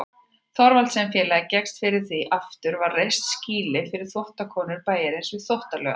Thorvaldsensfélagið gekkst fyrir því að aftur var reist skýli fyrir þvottakonur bæjarins við Þvottalaugarnar.